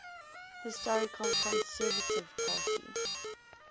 historical conservative party